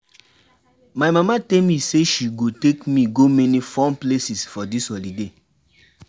My mama tell me say she go take me go many fun places for dis holiday